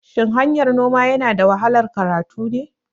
Shin hanyar noma yanada wahalar karatu ne?